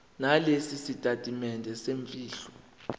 nalesi sitatimende semfihlo